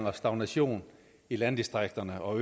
og stagnation i landdistrikterne og